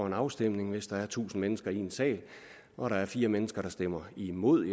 en afstemning hvis der er tusind mennesker i en sal og der er fire mennesker der stemmer imod